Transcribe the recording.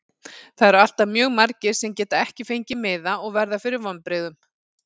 Það eru alltaf mjög margir sem geta ekki fengið miða og verða fyrir vonbrigðum.